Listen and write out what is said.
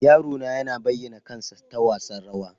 Yaro na yana bayyana kansa ta wasan rawa.